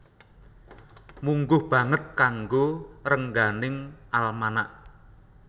Mungguh banget kanggo rengganing almanak